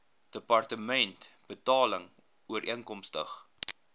departement betaling ooreenkomstig